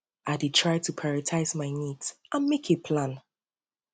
i dey try to prioritize my needs my needs and make a plan